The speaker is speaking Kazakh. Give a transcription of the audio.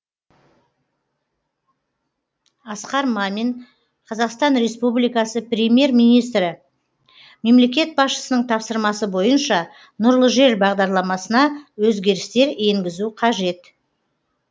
асқар мамин қазақстан республикасы премьер министрі мемлекет басшысының тапсырмасы бойынша нұрлы жер бағдарламасына өзгерістер енгізу қажет